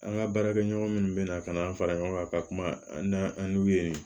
An ka baarakɛɲɔgɔn minnu bɛ na ka na an fara ɲɔgɔn kan ka kuma an n'an an n'u ye